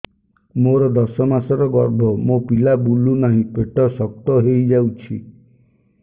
ମୋର ଦଶ ମାସର ଗର୍ଭ ମୋ ପିଲା ବୁଲୁ ନାହିଁ ପେଟ ଶକ୍ତ ହେଇଯାଉଛି